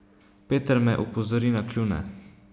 Peter me opozori na kljune.